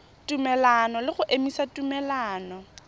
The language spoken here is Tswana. tumelelano le go emisa tumelelano